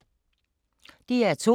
DR2